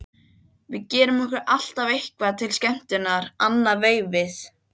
Við gerum okkur alltaf eitthvað til skemmtunar annað veifið.